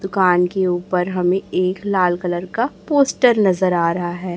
दुकान के ऊपर हमें एक लाल कलर का पोस्टर नजर आ रहा है।